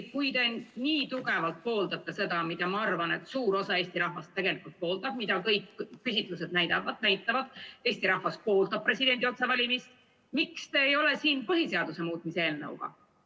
Kui te nii tugevalt pooldate seda, mida, ma arvan, suur osa Eesti rahvast pooldab – kõik küsitlused näitavad, et Eesti rahvas pooldab presidendi otsevalimist –, siis miks te ei ole siin põhiseaduse muutmise eelnõuga?